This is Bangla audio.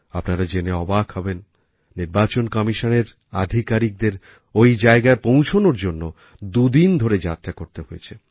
আপনারা জেনে অবাক হবেন নির্বাচন কমিশনের আধিকারিকদের ওই জায়গায় পৌঁছনোর জন্য দুদিন ধরে যাত্রা করতে হয়েছে